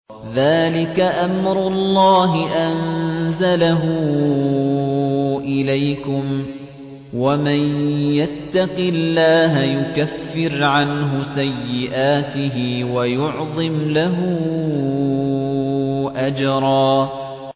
ذَٰلِكَ أَمْرُ اللَّهِ أَنزَلَهُ إِلَيْكُمْ ۚ وَمَن يَتَّقِ اللَّهَ يُكَفِّرْ عَنْهُ سَيِّئَاتِهِ وَيُعْظِمْ لَهُ أَجْرًا